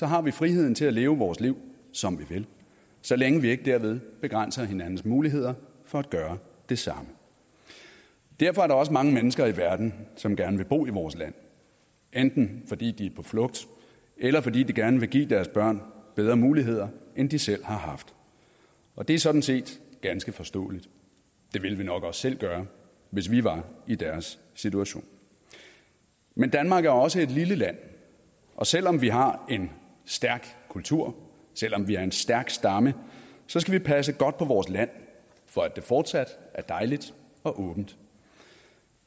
har vi friheden til at leve vores liv som vi vil så længe vi ikke derved begrænser hinandens muligheder for at gøre det samme derfor er der også mange mennesker i verden som gerne vil bo i vores land enten fordi de er på flugt eller fordi de gerne vil give deres børn bedre muligheder end de selv har haft og det er sådan set ganske forståeligt det ville vi nok også selv gøre hvis vi var i deres situation men danmark er også et lille land og selv om vi har en stærk kultur og selv om vi er en stærk stamme så skal vi passe godt på vores land for at det fortsat er dejligt og åbent